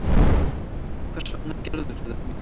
Hvers vegna gerðirðu mér þetta?